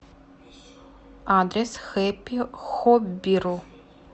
адрес хэппи хоббиру